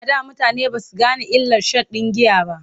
A da mutane ba su gane illar sha n giya ba.